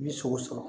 Ni sogo sɔrɔ